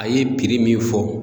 A ye min fɔ